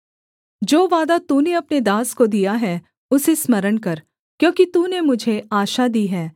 जो वादा तूने अपने दास को दिया है उसे स्मरण कर क्योंकि तूने मुझे आशा दी है